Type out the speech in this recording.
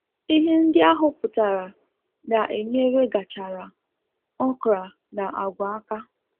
Ihe ndị ahuputare na enyere gachara, okra na agw aka